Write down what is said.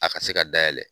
A ka se ka dayɛlɛ